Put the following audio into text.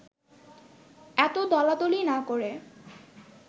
এত দলাদলি না করে